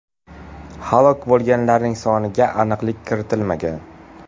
Halok bo‘lganlarning soniga aniqlik kiritilmagan.